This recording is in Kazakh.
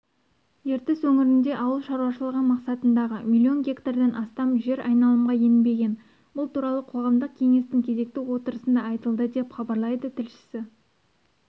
ертіс өңірінде ауыл шаруашылығы мақсатындағы миллион гектардан астам жер айналымға енбеген бұл туралы қоғамдық кеңестің кезекті отырысында айтылды деп хабарлайды тілшісі